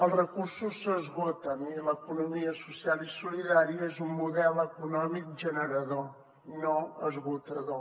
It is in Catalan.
els recursos s’esgoten i l’economia social i solidària és un model econòmic generador no esgotador